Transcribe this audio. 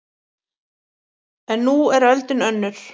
En nú er öldin önnur